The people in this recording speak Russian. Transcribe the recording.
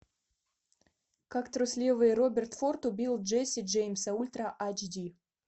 как трусливый роберт форд убил джесси джеймса ультра айч ди